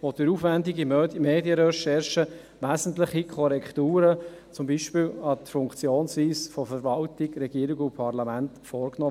Durch aufwendige Medienrecherchen wurden wesentliche Korrekturen, zum Beispiel an der Funktionsweise von Verwaltung, Regierung und Parlament, vorgenommen.